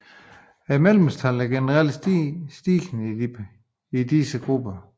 Medlemstallet er generelt stigende i disse grupper